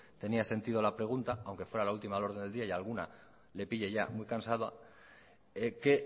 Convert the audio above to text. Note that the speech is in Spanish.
tenía sentido la pregunta aunque fuera la última del orden del día y a alguna le pille ya muy cansada que